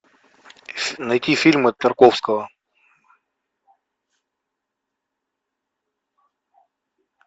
найти фильмы тарковского